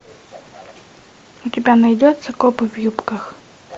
у тебя найдется копы в юбках